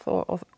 og